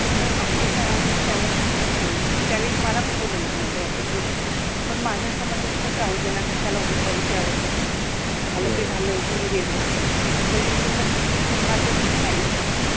आमच्या सरानि त्यावेळेस अस सांगितले मग त्यावेळेस मला पन बोलवल होत नंतर ऑफिस मधे पन माझ अस मत होत कि जाउद्याना कशाला उगिच या विषयावरति झाल ते झाल होउन गेल आणि ते मग प्राचार्य मने नाहि